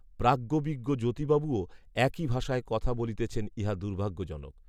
প্রাজ্ঞবিজ্ঞ জ্যোতিবাবুও, একই ভাষায় কথা বলিতেছেন, ইহা দুর্ভাগ্যজনক